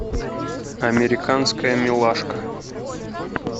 американская милашка